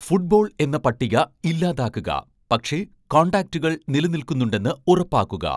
football എന്ന പട്ടിക ഇല്ലാതാക്കുക പക്ഷേ കോൺടാക്റ്റുകൾ നിലനിൽക്കുന്നുണ്ടെന്ന് ഉറപ്പാക്കുക